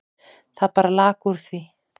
Það bara lak úr því.